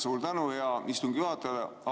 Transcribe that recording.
Suur tänu, hea istungi juhataja!